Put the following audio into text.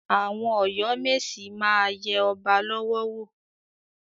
Àwọn Ọ̀yọ́ mèsì máa yẹ ọba lọ́wọ́ wò.